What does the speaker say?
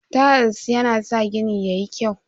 Tayal yana sa gida yayi kyau.